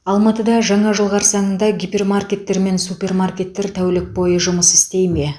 алматыда жаңа жыл қарсаңында гипермаркеттер мен супермаркеттер тәулік бойы жұмыс істей ме